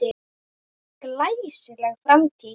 Glæsileg framtíð?